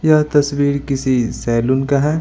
यह तस्वीर किसी सैलून का है।